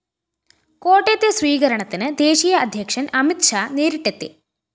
കോട്ടയത്തെ സ്വീകരണത്തിന് ദേശീയ അധ്യക്ഷന്‍ അമിത് ഷാഹ്‌ നേരിട്ടെത്തി